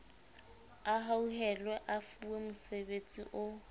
a hauhelwe a fuwemosebetsi o